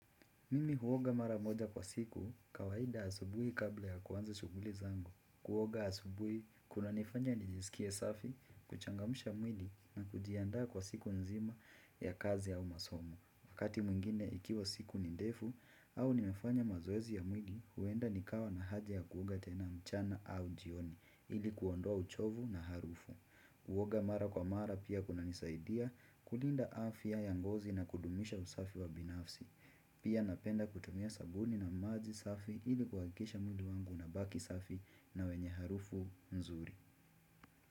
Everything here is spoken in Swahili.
Mimi huoga mara moja kwa siku, kawaida asubui kabla ya kuwanza shuguli zangu. Kuoga asubui, kunanifanya nijisikie safi, kuchangamsha mwili na kujianda kwa siku nzima ya kazi au masomo. Wakati mwingine ikiwa siku ni ndefu au nimefanya mazoezi ya mwili, huenda nikawa na haja ya kuoga tena mchana au jioni, ili kuondoa uchovu na harufu. Kuoga mara kwa mara pia kunanisaidia kulinda afya ya ngozi na kudumisha usafi wa binafsi. Pia napenda kutumia sabuni na maji safi ili kuakikisha mtu wangu unabaki safi na wenye harufu nzuri.